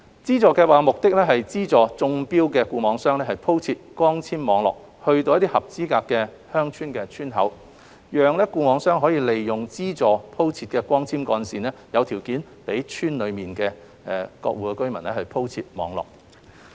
資助計劃目的是資助中標的固網商鋪設光纖網絡至合資格的鄉村的村口，讓固網商利用資助鋪設的光纖幹線，有條件再在村內鋪設網絡。